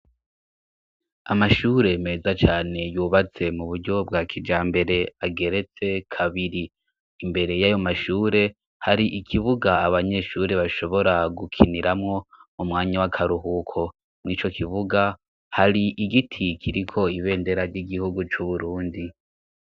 Amashure meza cane, yubatse mu buryo bwa kijambere, ageretse kabiri; imbere y'ayo mashure, hari ikibuga abanyeshure bashobora gukiniramwo mu mwanya w'akaruhuko. Muri ico kivuga, hari igiti kiriko ibendera ry'igihugu c'uburundi.